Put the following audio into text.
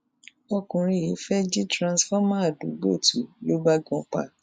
ọkùnrin yìí fẹẹ jí tìrúnsifọmà àdúgbò tu lọ bá gan pa